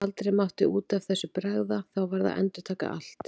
Aldrei mátti út af þessu bregða, þá varð að endurtaka allt.